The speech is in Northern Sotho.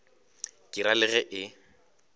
ke ra le ge e